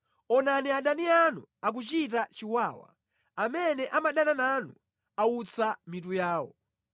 Onani adani anu akuchita chiwawa, amene amadana nanu autsa mitu yawo.